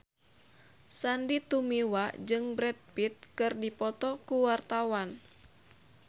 Sandy Tumiwa jeung Brad Pitt keur dipoto ku wartawan